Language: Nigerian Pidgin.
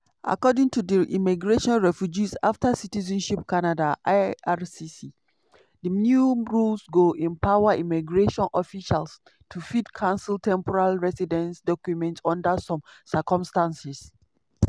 according to di immigration refugees and citizenship canada (ircc) di new rules go empower immigration officials to fit cancel temporary residents documents under some circumstances.